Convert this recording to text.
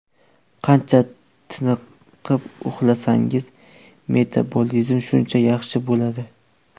Qancha tiniqib uxlasangiz, metabolizm shunchalik yaxshi bo‘ladi.